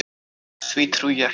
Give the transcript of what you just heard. Því trúi ég ekki.